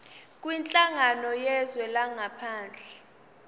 kwinhlangano yezwe langaphandle